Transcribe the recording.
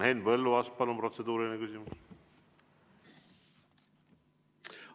Henn Põlluaas, palun, protseduuriline küsimus!